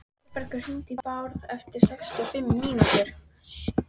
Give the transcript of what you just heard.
Þórbergur, hringdu í Bárð eftir sextíu og fimm mínútur.